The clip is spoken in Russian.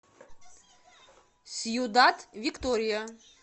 сьюдад виктория